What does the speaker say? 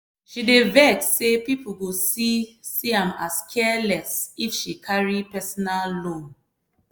she dey vex say people go see see am as careless if she carry personal loan.